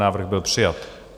Návrh byl přijat.